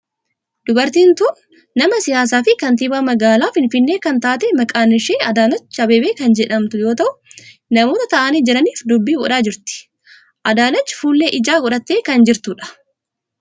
Dubartiin tun nama siyaasaa fi kantiibaa magaalaa finfinnee kan taate maqaan ishee Adaanech Abeebee kan jedhamtu yoo ta'u namoota ta'aanii jiranif dubbii godhaa jirti. Adaanech fuullee ijaa godhattee kan jirtudha.